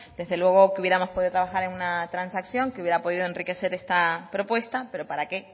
desde luego que hubiéramos podido trabajar en una transacción que pudiera enriquecer esta propuesta pero para qué